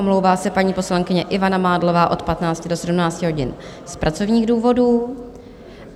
Omlouvá se paní poslankyně Ivana Mádlová od 15 do 17 hodin z pracovních důvodů.